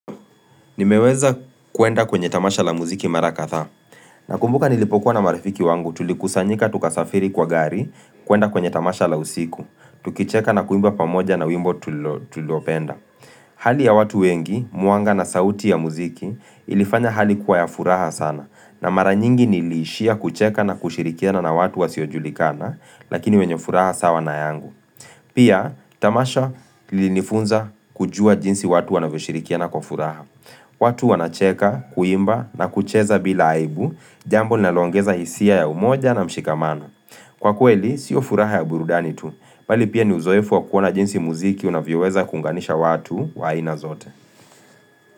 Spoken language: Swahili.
Nimeweza kuenda kwenye tamasha la muziki mara katha. Nakumbuka nilipokuwa na marafiki wangu tulikusanyika tukasafiri kwa gari kuenda kwenye tamasha la usiku. Tukicheka na kuimba pamoja na wimbo tulilopenda. Hali ya watu wengi, mwanga na sauti ya muziki, ilifanya hali kuwa ya furaha sana. Na mara nyingi niliishia kucheka na kushirikiana na watu wasiojulikana, lakini wenye furaha sawa na yangu. Pia, tamasha lilifunza kujua jinsi watu wanavyoshirikiana kwa furaha. Watu wanacheka, kuimba na kucheza bila aibu, jambo linaloongeza hisia ya umoja na mshikamana. Kwa kweli, sio furaha ya burudani tu, bali pia ni uzoefu wa kuona jinsi muziki unavyoweza kuunganisha watu wa ina zote.